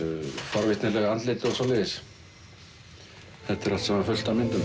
forvitnileg andlit og svoleiðis þetta er allt saman fullt af myndum